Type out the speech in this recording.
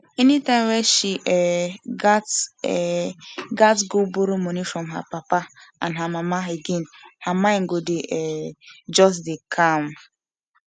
anytime wey she um gats um gats go borrow money from her papa and mama again her mind go um just dey calm